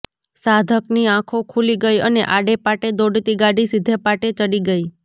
સાધકની આંખો ખૂલી ગઈ અને આડે પાટે દોડતી ગાડી સીધે પાટે ચડી ગઈ